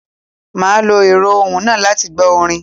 Màá lo èrọ́ ohùn náà láti gbó orin